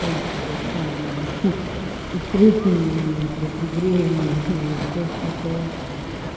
в принципе сам знаешь и встретим и бля пригреем и всё всё что угодно